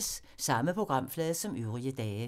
Samme programflade som øvrige dage